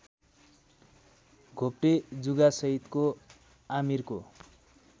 घोप्टे जुगासहितको आमिरको